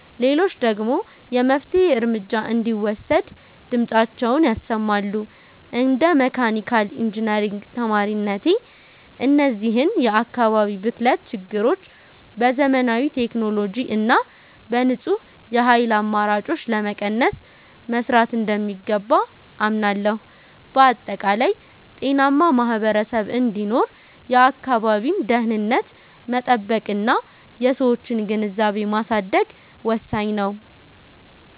ሌሎች ደግሞ የመፍትሔ እርምጃ እንዲወሰድ ድምፃቸውን ያሰማሉ። እንደ መካኒካል ኢንጂነሪንግ ተማሪነቴ፣ እነዚህን የአካባቢ ብክለት ችግሮች በዘመናዊ ቴክኖሎጂ እና በንጹህ የኃይል አማራጮች ለመቀነስ መሥራት እንደሚገባ አምናለሁ። በአጠቃላይ፣ ጤናማ ማኅበረሰብ እንዲኖር የአካባቢን ደኅንነት መጠበቅና የሰዎችን ግንዛቤ ማሳደግ ወሳኝ ነው።